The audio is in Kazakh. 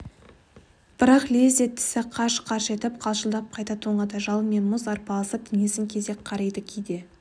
бірақ лезде тісі қарш-қарш етіп қалшылдап қайта тоңады жалын мен мұз арпалысып денесін кезек қариды кейде